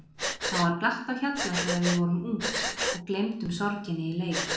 Þá var glatt á hjalla þegar við vorum ung og gleymdum sorginni í leik.